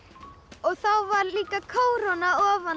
og þá var líka kóróna ofan